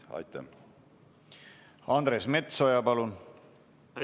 Andres Metsoja, palun!